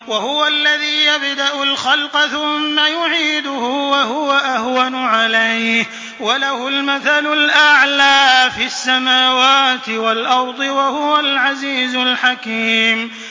وَهُوَ الَّذِي يَبْدَأُ الْخَلْقَ ثُمَّ يُعِيدُهُ وَهُوَ أَهْوَنُ عَلَيْهِ ۚ وَلَهُ الْمَثَلُ الْأَعْلَىٰ فِي السَّمَاوَاتِ وَالْأَرْضِ ۚ وَهُوَ الْعَزِيزُ الْحَكِيمُ